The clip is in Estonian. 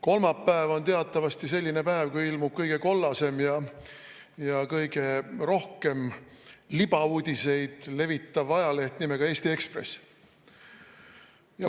Kolmapäev on teatavasti selline päev, kui ilmub kõige kollasem ja kõige rohkem libauudiseid levitav ajaleht nimega Eesti Ekspress.